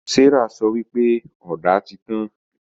Serah sọ wípé Ọ̀dà tí tàn